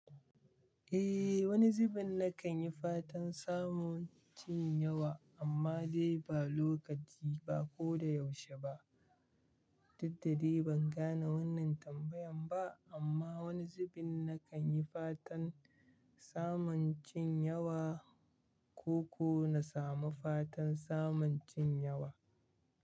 Eh wani zubin na kan yi fatan samun cin yawa amma dai ba lokaci ba ko da yaushe ba. Daddare ban gane wannan tambayan ba amma wani zubin na kan yi fatan samun cin yawa ko kuwa na samu fatan samun cin yawa.